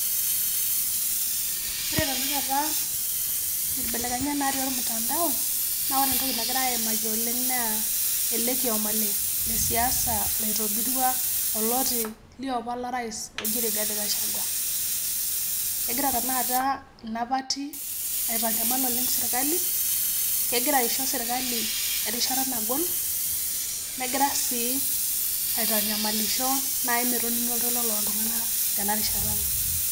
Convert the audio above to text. Oore tenakata inkebelekenyat natii atua ormutandao, naa oore entoki nagirae aimaki oleng' naa eele kioma le siasa loitobirwa oloti liopa lorais loji Rigathi Gachagua. Kegira tanakata ina party aitanyamal oleng serkali, kegira aisho serkali erishata nagol negira sii aitanyamalisho naai metoning'i oltoilo loltung'anak tenarishata.